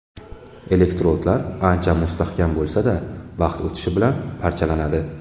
Elektrodlar ancha mustahkam bo‘lsa-da, vaqt o‘tishi bilan parchalanadi.